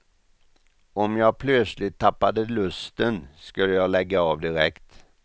Om jag plötsligt tappade lusten skulle jag lägga av direkt.